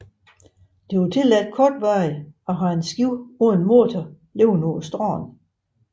Det er tilladt kortvarigt at have en båd uden motor liggende på stranden